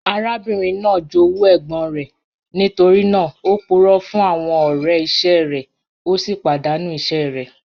Arábìnrin naá jówú ègbòn rẹ̀, nítorí naà ó púrọ̀ fún àwọn ọ̀rẹ̀ iṣẹ rẹ̀, o sì padàńú iṣẹ̀ rẹ̀.